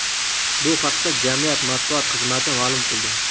Bu haqda jamiyat matbuot xizmati ma’lum qildi .